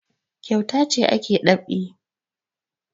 Kyauta ce ake dab'i